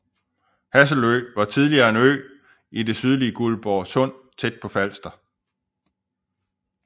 Hasselø var tidligere en ø i det sydlige Guldborg Sund tæt på Falster